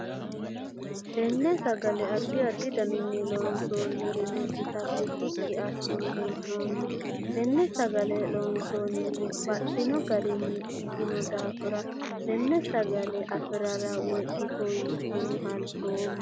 Tinni sagale addi addi daninni loonsoonni ra'ino itate shiqi asine hee'noonni. Tenne sagale loonsoonnihu baxino garinni ikino daafira tenne sagale afirela woyi itto yee halchoomo.